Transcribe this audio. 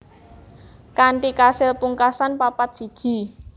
Kanthi kasil pungkasan papat siji